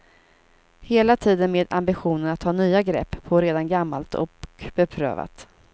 Hela tiden med ambitionen att ta nya grepp på redan gammalt och beprövat.